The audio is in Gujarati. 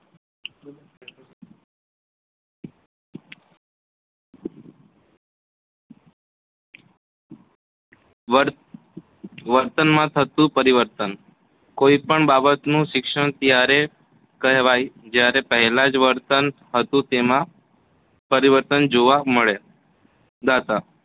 વર્ત વર્તન માં થતું પરિવર્તન કોઈપણ બાબત શિક્ષણ ત્યારે કહેવાય જયારે પહેલાજ વર્તન હતું તેમાં પરિવતર્તન જોવામળે દા તા